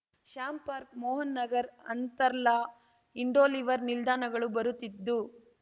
Shyam park Mohan Nagar Arthala Hindon river ನಿಲ್ದಾಣಗಳು ಬರುತ್ತಿದ್ದು